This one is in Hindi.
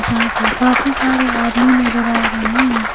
जहां पे काफी सारे आदमी नजर आ रहे हैं।